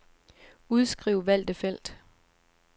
Udskriv valgte felt.